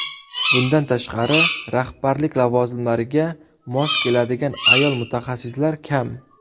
Bundan tashqari, rahbarlik lavozimlariga mos keladigan ayol mutaxassislar kam.